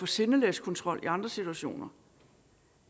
sindelagskontrol i andre situationer